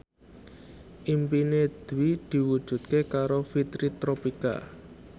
impine Dwi diwujudke karo Fitri Tropika